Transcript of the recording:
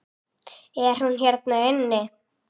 Er hún hérna inni?